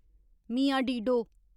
Mian Dido